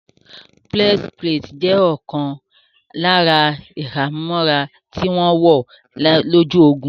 Breastplate jẹ́ ọ̀kan lára ìhámọ́ra tí wọ́n wọ̀ lójú ogun